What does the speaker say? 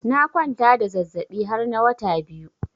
Na kwanta da zazabi har na wata biyu.